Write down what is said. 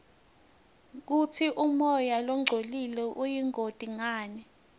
kutsi umoya longcolile uyingoti ngani